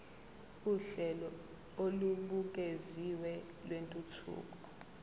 uhlelo olubukeziwe lwentuthuko